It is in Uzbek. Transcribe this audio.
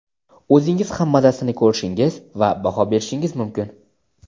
o‘zingiz ham mazasini ko‘rishingiz va baho berishingiz mumkin.